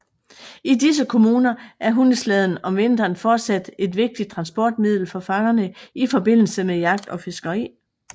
I disse kommuner er hundeslæden om vinteren fortsat et vigtigt transportmiddel for fangerne i forbindelse med jagt og fiskeri